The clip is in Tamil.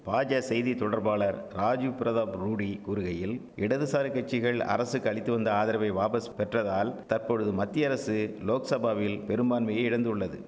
பாஜா செய்தி தொடர்பாளர் ராஜிவ் பிரதாப் ரூடி கூறுகையில் இடதுசாரி கட்சிகள் அரசுக்கு அளித்துவந்த ஆதரவை வாபஸ் பெற்றதால் தற்பொழுது மத்திய அரசு லோக்சபாவில் பெரும்பான்மையை இழந்துள்ளது